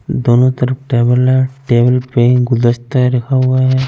दोनों तरफ टेबल है टेबल पेन गुलदस्ते रखा हुए है।